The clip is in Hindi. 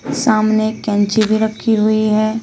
सामने कैंची भी रखी हुई है।